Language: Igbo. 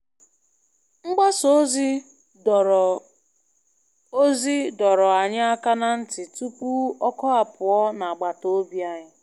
Mgbasa ozi dọrọ ozi dọrọ anyị aka ná ntị tupu ọkụ apụọ na agbatobi anyị.